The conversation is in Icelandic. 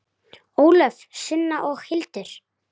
Ólöf, Sunna og Hildur.